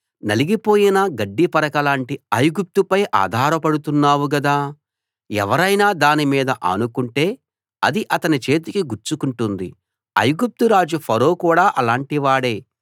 నలిగిపోయిన గడ్డిపరక లాంటి ఐగుప్తుపై ఆధారపడుతున్నావు గదా ఎవరైనా దాని మీద ఆనుకుంటే అది అతని చేతికి గుచ్చుకుంటుంది ఐగుప్తు రాజు ఫరో కూడా అలాంటివాడే